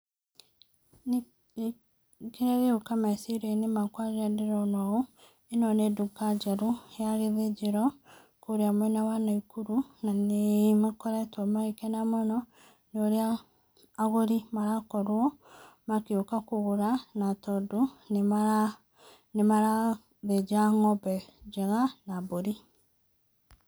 Niĩ kĩrĩa gĩgũka meciria-inĩ makwa rĩrĩa ndĩrona ũũ, ĩno nĩ nduka njerũ ya gĩthĩnjĩro kũrĩa mwena wa Naikuru na nĩ makoretwo magĩkena mũno nĩ ũrĩa agũri marakorwo magĩũka kũgũra na tondũ nĩmarathĩnja ng'ombe njega na mbũri.